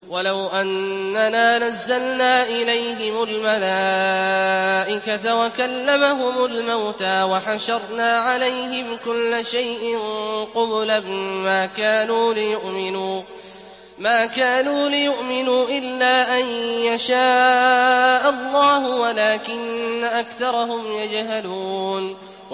۞ وَلَوْ أَنَّنَا نَزَّلْنَا إِلَيْهِمُ الْمَلَائِكَةَ وَكَلَّمَهُمُ الْمَوْتَىٰ وَحَشَرْنَا عَلَيْهِمْ كُلَّ شَيْءٍ قُبُلًا مَّا كَانُوا لِيُؤْمِنُوا إِلَّا أَن يَشَاءَ اللَّهُ وَلَٰكِنَّ أَكْثَرَهُمْ يَجْهَلُونَ